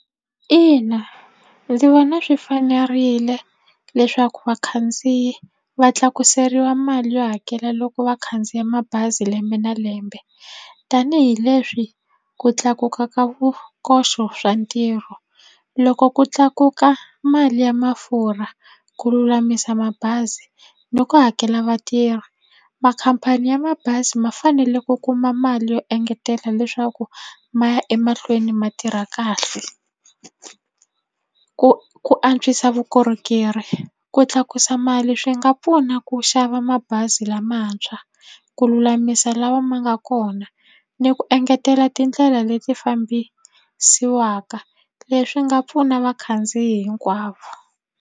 Ina, ndzi vona swi fanerile leswaku vakhandziyi va tlakuseriwa mali yo hakela loko va khandziya mabazi lembe na lembe tanihileswi ku tlakuka ka vukoxo swa ntirho loko ku tlakuka mali ya mafurha ku lulamisa mabazi ni ku hakela vatirhi makhampani ya mabazi ma fanele ku kuma mali yo engetela leswaku ma ya emahlweni ma tirha kahle ku ku antswisa vukorhokeri ku tlakusa mali swi nga pfuna ku xava mabazi lamantshwa ku lulamisa lawa ma nga kona ni ku engetela tindlela leti fambisaka leswi nga pfuna vakhandziyi hinkwavo.